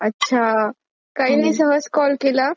अच्छा. काही नाही सहज कॉल केला.